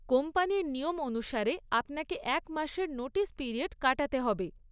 কোম্পানির নিয়ম অনুসারে আপনাকে এক মাসের নোটিস পিরিয়ড কাটাতে হবে।